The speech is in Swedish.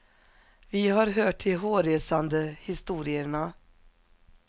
Vi har hört de hårresande historierna.